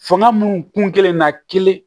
Fanga minnu kun kɛlen na kelen